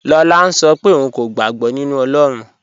Lọlá ń ṣọ́ pẹ̀ ọ̀un kò gbàg̀bọ̀ nínu Ọlọ́run.